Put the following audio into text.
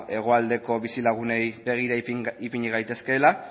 hegoaldeko bizilagunei begira ipini gaitezkeela